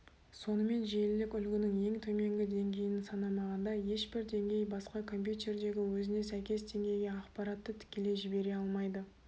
сонымен желілік үлгінің ең төменгі деңгейін санамағанда ешбір деңгей басқа компьютердегі өзіне сәйкес деңгейге ақпаратты тікелей жібере алмайды